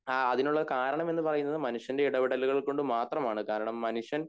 അഹ് അതിനുള്ള കാരണം എന്ന് പറയണത് മനുഷ്യന്റെ ഇടപെടലുകൾ കൊണ്ട് മാത്രം ആണ് കാരണം മനുഷ്യൻ